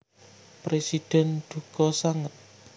Presiden duka sanget